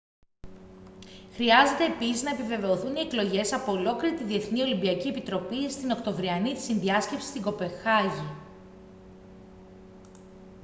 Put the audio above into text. χρειάζεται επίσης να επιβεβαιωθούν οι εκλογές από ολόκληρη την διεθνή ολυμπιακή επιτροπή στην οκτωβριανή συνδιάσκεψη στην κοπεγχάγη